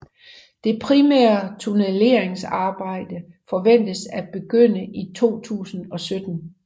Det primære tunnelleringsarbejde forventes at begynde i 2017